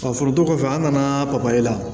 Ka foronto kɔfɛ an nana papaye la